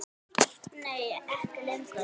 Nei ekki lengur.